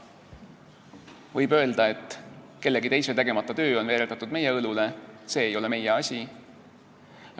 Võib öelda, et kellegi teise tegemata töö on veeretatud meie õlule, see ei ole meie asi.